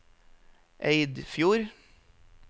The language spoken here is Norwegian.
Eidfjord